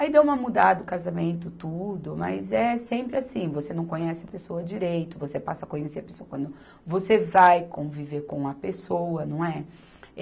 Aí deu uma mudada, o casamento, tudo, mas é sempre assim, você não conhece a pessoa direito, você passa a conhecer a pessoa quando você vai conviver com a pessoa, não é?